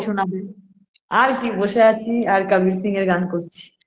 শোনাবে আর কি বসে আছি আর কবির সিং-এর গান করছি